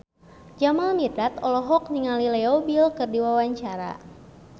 Jamal Mirdad olohok ningali Leo Bill keur diwawancara